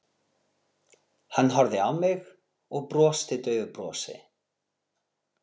Hann horfði á mig og brosti daufu brosi.